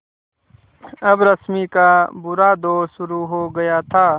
अब रश्मि का बुरा दौर शुरू हो गया था